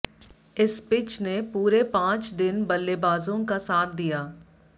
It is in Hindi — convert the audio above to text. इस पिच ने पूरे पांच दिन बल्लेबाजों का साथ दिया